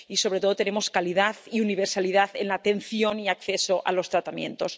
y donde sobre todo tenemos calidad y universalidad en la atención y el acceso a los tratamientos.